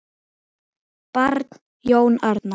Barn: Jón Arnar.